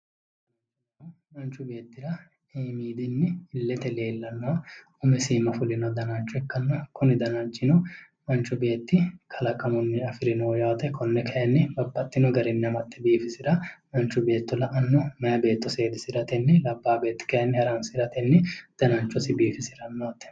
umu manchu beettira iimmidinni iillete leellanno umisi iimma fulino danacho ikkanna kuni danachino manchu beetti kalaqamunni afirinoho yaate konne kayni babbaxxinno garinni amaxxe biifisira manchu beeto la'anno meya beetto seedisiratenni labbaa beeti kayni haransiratenni danachosi biifisiranno yaate.